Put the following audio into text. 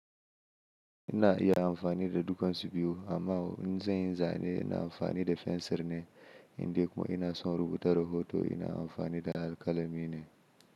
Ina iya amfani da dukan su biyu amma in zan yi zane ina amfani da fensir ne, indai kuma ina son rubuta rahoton ina amfani da alƙalami ne.